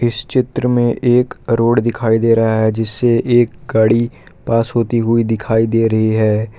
इस चित्र में एक रोड दिखाई दे रहा है जिससे एक गाड़ी पास होती हुई दिखाई दे रही है।